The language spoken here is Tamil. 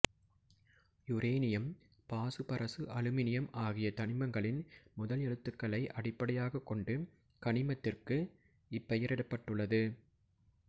யுரேனியம் பாசுபரசு அலுமினியம் ஆகிய தனிமங்களின் முதல் எழுத்துகளை அட்டிப்படையாகக் கொண்டு கனிமத்திற்கு இப்பெயரிடப்பட்டுள்ளது